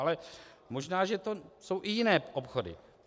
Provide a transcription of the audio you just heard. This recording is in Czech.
Ale možná že to jsou i jiné obchody.